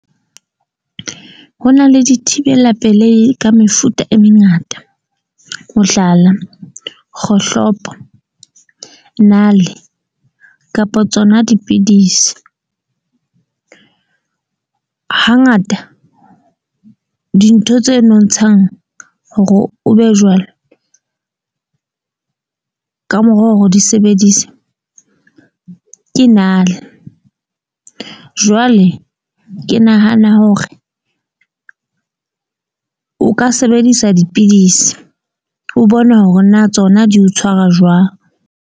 Ho na le dithibela pelehi ka mefuta e mengata, mohlala, kgohlopo, nale, kapa tsona dipidisi. Hangata dintho tse nontshang hore o be jwalo. Ka mora hore o di sebedise. Ke nale jwale ke nahana hore o ka sebedisa dipidisi o bona hore na tsona di o tshwara jwang.